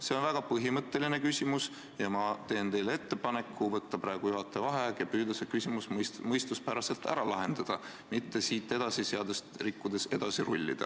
See on väga põhimõtteline küsimus ja ma teen teile ettepaneku võtta praegu juhataja vaheaeg ja püüda see küsimus mõistuspäraselt ära lahendada, mitte seadust rikkudes edasi rullida.